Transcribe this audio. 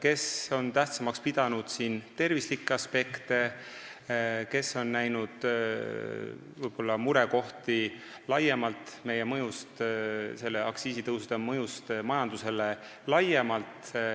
Osa on aktsiisitõusude puhul tervislikke aspekte tähtsamaks pidanud, osa on näinud murekohti selles, milline on nende mõju majandusele laiemalt.